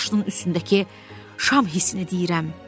Orda böyük bir daşın üstündəki şam hissənə deyirəm.